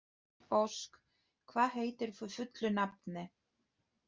Ósk, hvað heitir þú fullu nafni?